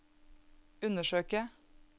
undersøke